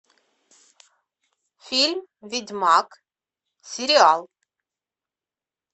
фильм ведьмак сериал